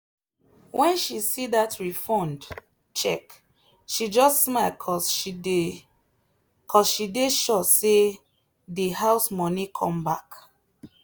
when she see that refund cheque she just smile cuz she dey cuz she dey sure say de house money come back